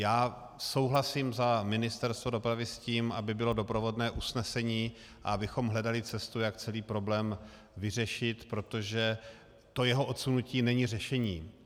Já souhlasím za Ministerstvo dopravy s tím, aby bylo doprovodné usnesení a abychom hledali cestu, jak celý problém vyřešit, protože to jeho odsunutí není řešení.